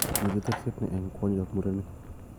Miten terset ne eng kwonyik ak murenik.